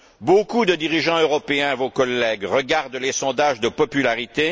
Beaucoup de dirigeants européens vos collègues regardent les sondages de popularité.